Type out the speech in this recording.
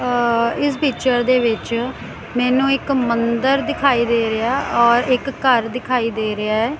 ਆ ਇਸ ਪਿਕਚਰ ਦੇ ਵਿੱਚ ਮੈਂਨੂੰ ਇੱਕ ਮੰਦਰ ਦਿਖਾਈ ਦੇ ਰਿਹਾ ਔਰ ਇੱਕ ਘੱਰ ਦਿਖਾਈ ਦੇ ਰਿਹਾ ਹੈ।